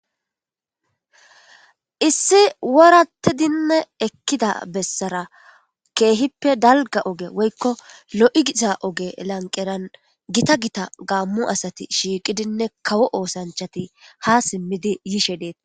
Issi worattidinne ekkida bessara keehippe dalga oge woykko lo'igisa oge lanqeran gita gita gaammu asati shiiqidinne kawo oosanchati ha simmidi yishe deeta.